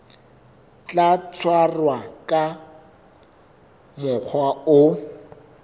tla tshwarwa ka mokgwa o